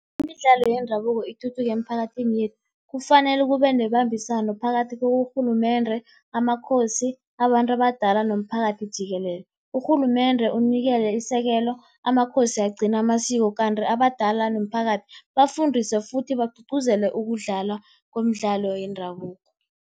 Imidlalo yendabuko ithuthuke eemphakathini yethu, kufanele kube nebambiswano phakathi korhulumende, amaKhosi, abantu abadala nomphakathi jikelele. Urhulumende unikele isekelo, amaKhosi agcine amasiko, kanti abadala nomphakathi bafundise futhi bagcugcuzele ukudlala kweemdlalo yendabuko.